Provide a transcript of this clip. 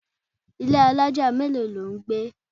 Ilé alájà mélòó ni ò ń gbé?